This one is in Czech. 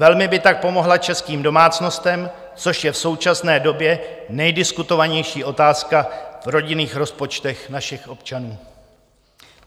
Velmi by tak pomohla českým domácnostem, což je v současné době nejdiskutovanější otázka v rodinných rozpočtech našich občanů.